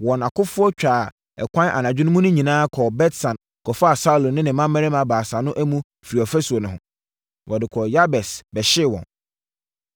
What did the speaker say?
wɔn akofoɔ twaa ɛkwan anadwo mu no nyinaa kɔɔ Bet-San kɔfaa Saulo ne ne mmammarima baasa no amu firii ɔfasuo no ho. Wɔde kɔɔ Yabes bɛhyee wɔn.